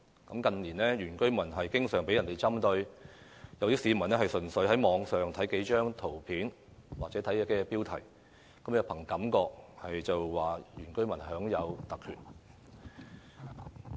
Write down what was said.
新界原居民近年經常被針對，有市民單憑在網上看到的一些圖片或標題，便憑感覺指原居民享有特權。